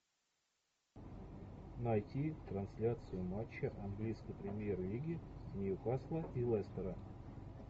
найти трансляцию матча английской премьер лиги ньюкасла и лестера